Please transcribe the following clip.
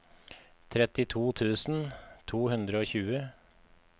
trettito tusen to hundre og tjue